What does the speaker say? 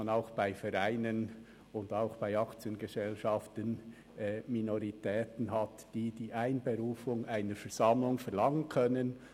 Bei Vereinen und bei Aktiengesellschaften gibt es Minoritäten, die die Einberufung einer Versammlung verlangen können.